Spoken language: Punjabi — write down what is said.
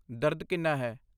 ਦਰਦ ਕਿੰਨਾ ਹੈ?